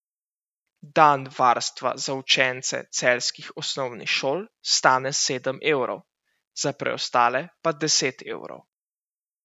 Dan varstva za učence celjskih osnovnih šol stane sedem evrov, za preostale pa deset evrov.